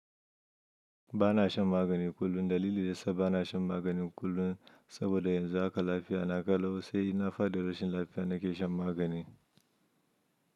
Ba na shan magani kullum. Dalili da sa ba na shan magani kullum saboda yanzu haka lafiya na kalau sai na fadi rashin lafiya na kai shan magani.